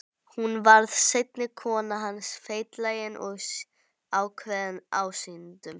Hún varð seinni kona hans, feitlagin og ákveðin ásýndum.